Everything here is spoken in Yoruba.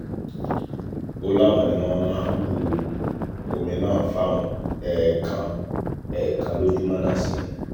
ó láwọn ni wọ́n máa bu omi náà fáwọn ẹ̀ẹ̀kan ẹ̀ẹ̀kan lójúmọ́ náà sí ni